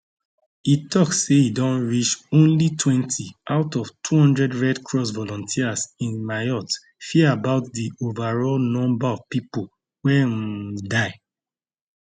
e tok say e don reach onlytwentyout of 200 red cross volunteers in mayotte fear about di overall number of pipo wey um die